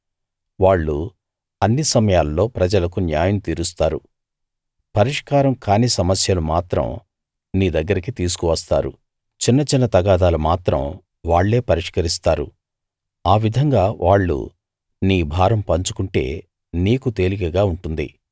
వాళ్ళు అన్ని సమయాల్లో ప్రజలకు న్యాయం తీరుస్తారు పరిష్కారం కాని సమస్యలు మాత్రం నీ దగ్గరికి తీసుకు వస్తారు చిన్న చిన్న తగాదాలు మాత్రం వాళ్ళే పరిష్కరిస్తారు ఆ విధంగా వాళ్ళు నీ భారం పంచుకుంటే నీకు తేలికగా ఉంటుంది